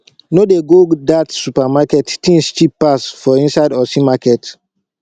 no dey go that supermarket things cheap pass for inside ose market